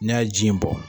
N'a ye ji in bɔ